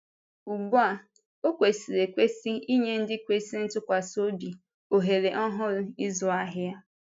Ugbu a, ọ kwesịrị ekwesị inye ndị kwesịrị ntụkwasị obi ohere ọhụrụ ịzụ ahịa.